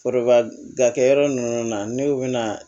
Forobakɛ yɔrɔ ninnu na n'u bɛna